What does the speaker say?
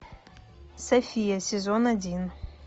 софия сезон один